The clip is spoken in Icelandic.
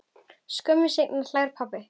Skömmu seinna hlær pabbi.